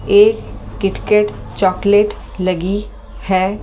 एक KitKat chocolate लगी है ।